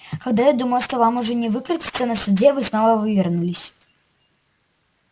когда я думал что вам уже не выкрутиться на суде вы снова вывернулись